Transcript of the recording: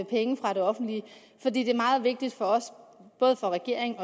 penge fra det offentlige for det er meget vigtigt for os både for regeringen